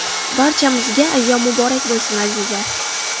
Barchamizga ayyom muborak bo‘lsin, azizlar!